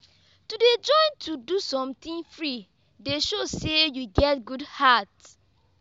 to dey join to do sometin free dey show sey you get good heart.